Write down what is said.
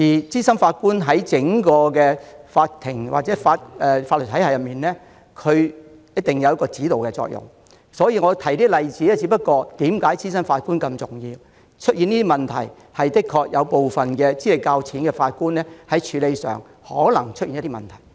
資深法官在整個法庭或法律體系中有指導作用，我提及這些例子是要說明資深法官的重要性，因為有部分資歷較淺的法官處理案件時可能出現問題。